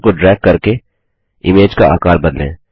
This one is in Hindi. कर्सर को ड्रैग करके इमेज का आकार बदलें